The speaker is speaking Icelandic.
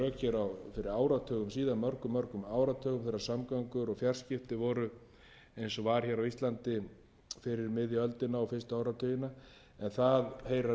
síðan mörgum áratugum þegar samgöngur og fjarskipti voru eins og var á íslandi fyrir miðja öldina og fyrstu áratugina en það heyrir að mínu mati sögunni til